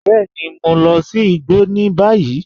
Bẹẹni, mọ̀ n lọ̀ sí ìgbọ́ ní báyìí.